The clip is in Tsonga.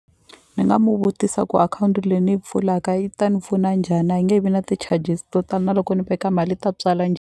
Ni nga mu vutisa ku akhawunti leyi ni yi pfulaka yi ta ni pfuna njhani a yi nge vi na ti-charges to tala na loko ni veka mali yi ta tswala .